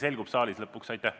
See ikkagi selgub lõpuks saalis.